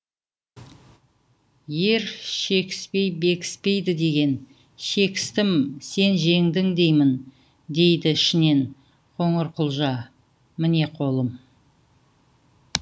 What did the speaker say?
ер шекіспей бекіспейді деген шекістім сен жеңдің деймін дейді ішінен қоңырқұлжа міне қолым